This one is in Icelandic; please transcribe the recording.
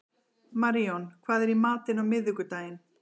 Maríon, hvað er í matinn á miðvikudaginn?